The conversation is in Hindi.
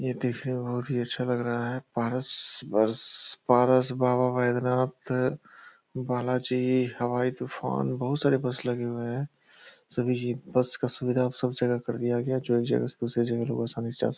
ये देखने में बहुत ही अच्छा लग रहा है पारस बरस पारस बाबा वैद्यनाथ बाला जी हवाई तुफान बहुत सारे बस लगे हुए हैं सभी चीज बस का सुविधा अब सब जगह कर दिया जो एक जगह से दूसरी जगह लोग आसानी से जा --